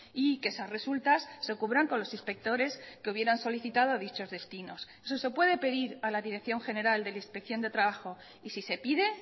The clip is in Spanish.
y que esas resultas se cubran con los inspectores que hubieran solicitado dichos destinos eso se puede pedir a la dirección general de la inspección de trabajo y si se pide